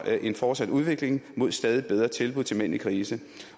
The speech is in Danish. en fortsat udvikling mod stadig bedre tilbud til mænd i krise